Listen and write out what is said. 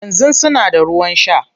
Yanzu suna da ruwan shaa